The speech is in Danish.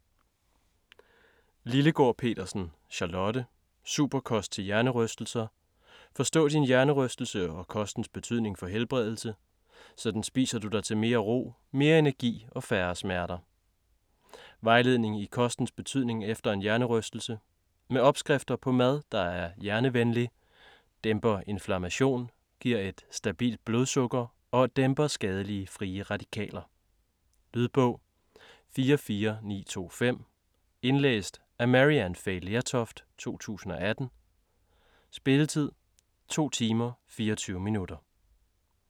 Lillegaard Petersen, Charlotte: Superkost til hjernerystelser: forstå din hjernerystelse og kostens betydning for helbredelse: sådan spiser du dig til mere ro, mere energi og færre smerter Vejledning i kostens betydning efter en hjernerystelse. Med opskrifter på mad, der er hjernevenlig, dæmper inflammation, giver et stabilt blodsukker og dæmper skadelige frie radikaler. Lydbog 44925 Indlæst af Maryann Fay Lertoft, 2018. Spilletid: 2 timer, 24 minutter.